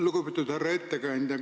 Lugupeetud härra ettekandja!